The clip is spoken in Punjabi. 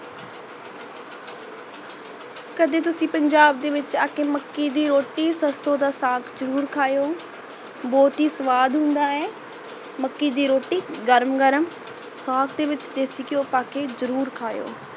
ਕਦੀ ਤੁਸੀ ਪੰਜਾਬ ਦੇ ਵਿੱਚ ਅੱਕੇ ਮੱਕੀ ਦੀ ਰੋਟੀ ਸਰਸੋ ਦਾ ਸਾਗ ਜਰੂਰ ਖਾਯੋ ਬਹੁਤ ਹੀ ਸਵਾਦ ਹੁੰਦਾ ਹੈ। ਮੱਕੀ ਦੀ ਰੋਟੀ ਗਰਮ ਗਰਮ ਸਾਗ ਦੇ ਵਿਚ ਦੇਸੀ ਗਿਹਯੋ ਪਾਕੇ ਜਰੂਰ ਖਾਯੋ।